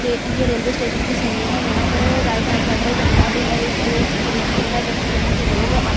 ये यह railway station की सीढ़ियाँ हैं यहाँ पर राइट हैंड साइड पर जंगल बिल अ स अ ब्रिज भी हैं जिस यहाँ से लोग आत --